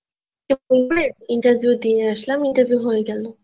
interview দিয়ে আসলাম interview হয়ে গেল